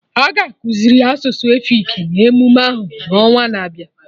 Aga ekuziri asụsụ efik na emume ahụ n'ọnwana-abịa